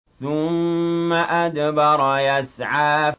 ثُمَّ أَدْبَرَ يَسْعَىٰ